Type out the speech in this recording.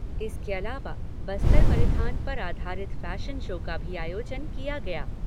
इसके अलावा बस्तर परिधान पर आधारित फैशन शो का भी आयोजन किया गया।